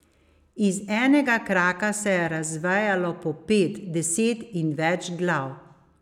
Iz enega kraka se je razvejalo po pet, deset in več glav.